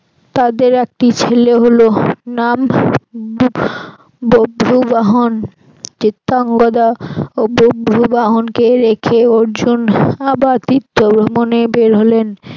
তাদের একটি ছেলে হল নাম বভ্রুবাহন চিত্রাঙ্গদা ও বভ্রুবাহনকে রেখে অর্জুন আবার তীর্থ ভ্রমনে বের হলেন